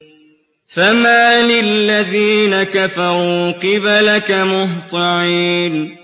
فَمَالِ الَّذِينَ كَفَرُوا قِبَلَكَ مُهْطِعِينَ